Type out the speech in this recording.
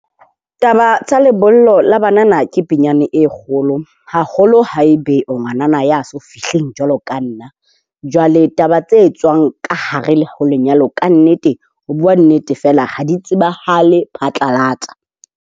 Taba tsa lebollo la banana ke pinyane e kgolo. Haholo haebe ngwanana ya so fihleng jwalo ka nna, jwale taba tse etswang ka hare ho lenyalo ka nnete ho bua nnete fela ha di tsebahale phatlalatsa.